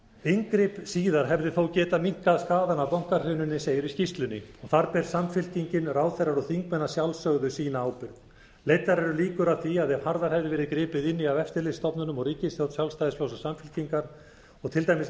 inngrip síðar hefði þó getað minnkað skaðann af bankahruninu segir í skýrslunni og þar ber samfylkingin ráðherrar og þingmenn að sjálfsögðu sína ábyrgð leiddar eru líkur að því að ef harðar hefði verið gripið inn í af eftirlitsstofnunum og ríkisstjórn sjálfstæðisflokks og samfylkingar og til dæmis